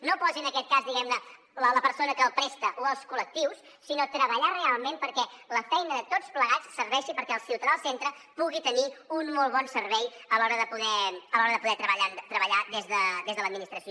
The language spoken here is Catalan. no posi en aquest cas diguem ne la persona que el presta o els col·lectius sinó treballar realment perquè la feina de tots plegats serveixi perquè el ciutadà al centre pugui tenir un molt bon servei a l’hora de poder treballar des de l’administració